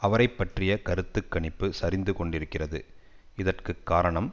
அவரை பற்றிய கருத்து கணிப்பு சரிந்து கொண்டிருக்கிறது இதற்கு காரணம்